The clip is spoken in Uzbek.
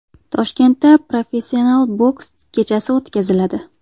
Toshkentda professional boks kechasi o‘tkaziladi.